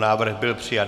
Návrh byl přijat.